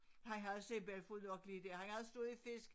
Han havde simpelthen fået nok lige der han havde stået i fisk